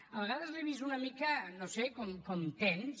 a vegades l’he vist una mica no ho sé com tens